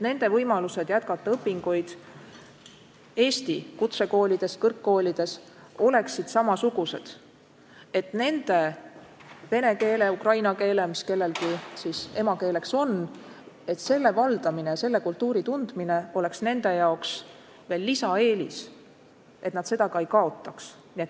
Nende võimalused jätkata õpinguid Eesti kutsekoolides ja kõrgkoolides peavad olema samasugused ja nende vene keele, ukraina keele – mis kellelgi emakeeleks on – valdamine, selle rahva kultuuri tundmine peaks olema nende jaoks veel lisaeelis, mida nad ei tohi kaotada.